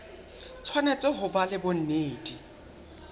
tshwanetse ho ba le bonnete